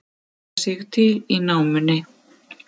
Færa sig til í námunni